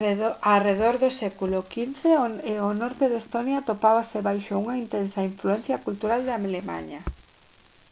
arredor do século xv o norte de estonia atopábase baixo unha intensa influencia cultural de alemaña